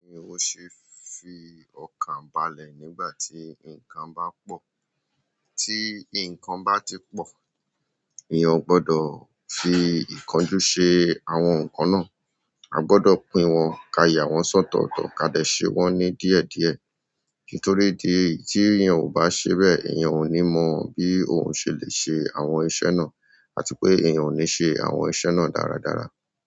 Bí èèyàn ṣe fi ọkàn balẹ̀ nígbà tí nǹkan bá pọ. Tí nǹkan bá ti pọ̀, ènìyàn ò gbọdọ̀ fi ìkan ju ṣe àwọn nǹkan náà. A gbọ́dọ̀ pín wọn, kà yà wọn sọ́tọ̀ọ̀tọ̀, ká dẹ̀ sé wọ́n ní díẹ̀díẹ̀. Nítorí ìdí èyí, tí ènìyàn ò bá ṣe bẹ́ẹ̀, ènìyàn ò ní mọ bí òun ṣe lè ṣe àwọn iṣẹ́ náà àti pé ènìyàn ò ní ṣe àwọn iṣẹ́ náà dáadáa.